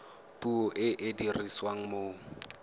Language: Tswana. puo e e dirisiwang mo